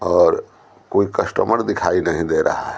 और कोई कस्टमर दिखाई नहीं दे रहा--